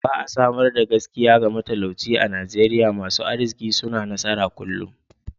Ba'a samar da gaskiya ga matalauci a'Nijeriya. Masun arzikin suna nasara kullum.